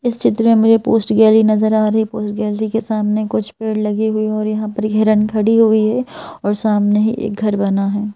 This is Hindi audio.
इस चित्र में मुझे पोस्ट गैलरी नजर आ रही है पोस्ट गैलरी के सामने कुछ पैर लगे हुए हैं और यहां पर घेरन खड़ी हुई है और सामने ही एक घर बना है।